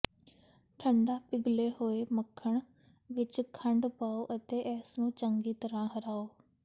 ਠੰਢਾ ਪਿਘਲੇ ਹੋਏ ਮੱਖਣ ਵਿੱਚ ਖੰਡ ਪਾਉ ਅਤੇ ਇਸ ਨੂੰ ਚੰਗੀ ਤਰ੍ਹਾਂ ਹਰਾਓ